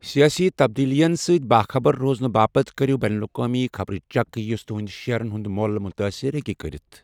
سیٲسی تبدیلیَن سۭتۍ باخبر روزنہٕ باپتھ کٔرِو بین الاقوٲمی خبرٕ چیک یُس تُہنٛدۍ شیٮٔرَن ہُنٛد مۄل مُتٲثر ہٮ۪کہِ کٔرِتھ۔